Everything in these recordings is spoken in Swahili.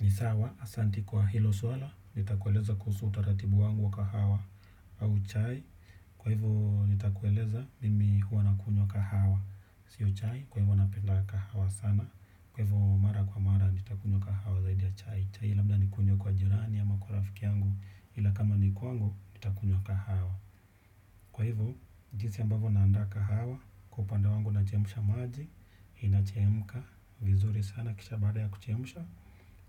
Ni sawa, asanti kwa hilo swala, nitakueleza kuhusu taratibu wangu wa kahawa au chai. Kwa hivo, nitakueleza mimi huwa nakunywa kahawa. Sio chai, kwa hivo napenda kahawa sana. Kwa hivo, mara kwa mara, nitakunywa kahawa zaidi ya chai. Chai, labda nikunywe kwa jirani, ama kwa rafiki yangu, ila kama ni kwangu, nitakunywa kahawa. Kwa hivo, jinsi ambavo naanda kahawa, kupanda wangu nachemsha maji, inachemka, vizuri sana, kisha baada ya kuchemsha.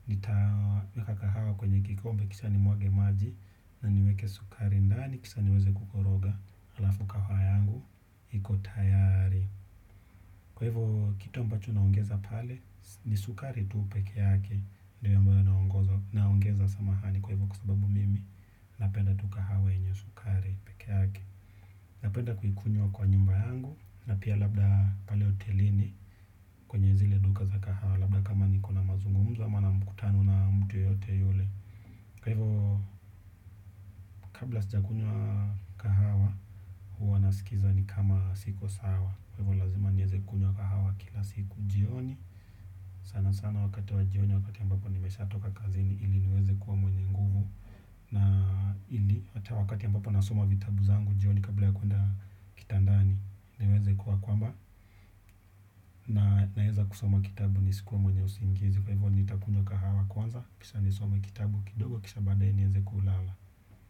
Nitaweka kahawa kwenye kikombe kisha nimwage maji. Na niweke sukari ndani kisha niweze kukoroga. Alafu kahawa yangu hiko tayari. Kwa hivyo kitu ambacho naongeza pale. Ni sukari tuu peke yake. Ndiyo ambaye naongeza samahani. Kwa hivyo kwa sababu mimi napenda tu kahawa yenye sukari peke yake. Napenda kuikunywa kwa nyumba yangu. Na pia labda pale hotelini. Kwenye zile duka za kahawa labda kama niko na mazungumzu ama na mkutano na mtu yeyote yule kwa hivyo kabla sijakunywa kahawa huwa nasikiza ni kama siko sawa kwa hivyo lazima nieze kunywa kahawa kila siku jioni sana sana wakati wa jioni wakati ambapo nimeshatoka kazini ili niweze kuwa mwenye nguvu na ili wakati ambapo nasoma vitabu zangu jioni kabla ya kuenda kitandani niweze kuwa kwamba naeza kusoma kitabu nisikuwe mwenye usingizi kwa hivyo nitakunywa kahawa kwanza kisha nisome kitabu kidogo kisha baday3 nieze kulala.